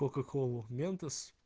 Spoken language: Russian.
кока колу ментос